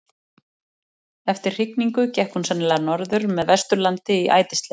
eftir hrygningu gekk hún sennilega norður með vesturlandi í ætisleit